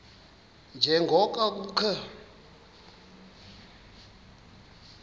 nje ngoko kukho